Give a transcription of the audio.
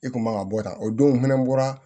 I kun man ka bɔ tan o don fɛnɛ bɔra